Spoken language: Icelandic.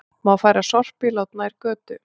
Má færa sorpílát nær götu